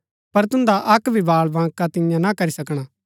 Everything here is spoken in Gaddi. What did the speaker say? पर तुन्दा अक्क भी बाल बांका तियां ना करी सकणा